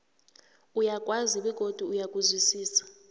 uyakwazi begodu uyakuzwisisa